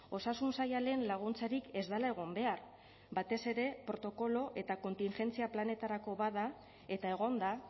osasun saila lehen laguntzarik ez dela egon behar batez ere protokolo eta kontingentzia planetarako bada eta egonda